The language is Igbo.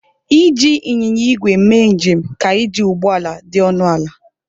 Iji Ịnyịnya igwe mee njem ka iji ụgbọ ala dị ọnụ ala.